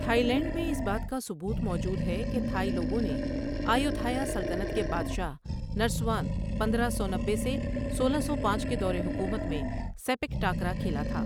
Thai land میں ، اس بات کا ثبوت موجود ہے کہ تھائی لوگوں نے آیوتھایا سلطنت کے بادشاہ نرسوان پندرہ سو نبے سے سولہ سو پانچ کے دور حکومت میں سیپک ٹاکرا کھیلا تھا.